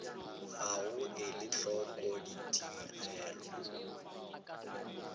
ga go ela hloko ditigelo